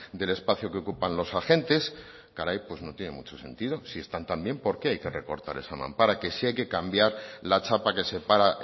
del espacio que ocupan los agentes caray pues no tiene mucho sentido si están tan bien por qué hay que recortar esa mampara que si hay que cambiar la chapa que separa